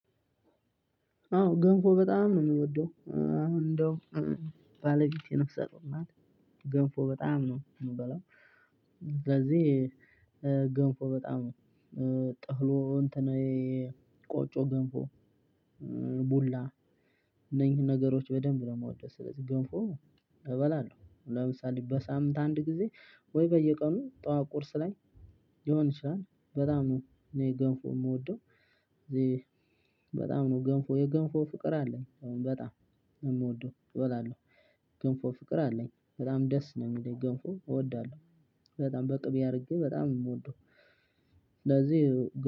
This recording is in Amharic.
አዎ ገንፎ በጣም ነው ምወደው አሁን እንደው ባለቤቴ ነፍሰጡር ናት። ገንፎ በጣም ነው ምበላው። ስለዚህ ገንፎ በጣም ነው ጠህሙ እንትናዬ ቆጮ ገንፎ። ቡላ እነኚህን ነገሮች በደንብ ነው የምወደው። ስለዚህ ገንፎ እበላለሁ። ለምሳሌ በሳምንት አንድ ጊዜ ወይ በየቀኑ ጠዋት ቁርስ ላይ ይሆን ይችላል በጣም ነው እኔ ገንፎ የምወደው። ስለዚህ በጣም ነው ገንፎ የገንፎ ፍቅር አለኝ። አሁን በጣም የምወደው እበላለሁ። ገንፎ ፍቅር አለኝ በጣም ደስ ነው ምለኝ ገንፎ እወዳለሁ። በጣም በቅቤ አድርጌ በጣም ነው የምወደው። ስለዚህ